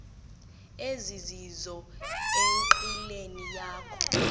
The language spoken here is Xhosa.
ezizizo enqileni yakho